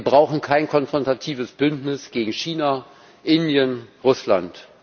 Wir brauchen kein konfrontatives Bündnis gegen China, Indien, Russland.